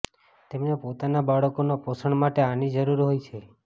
તેમને પોતાના બાળકોના પોષણ માટે આની જરૂર હોય છે